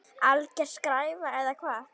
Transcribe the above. Alger skræfa eða hvað?